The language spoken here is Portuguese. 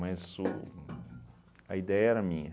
Mas o a ideia era minha.